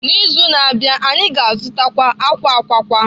N'izu na-abịa, anyị ga-azụtakwu akwa akwa akwa